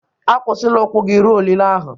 Akwụsịla ụkwụ gị ruo olili ahụ.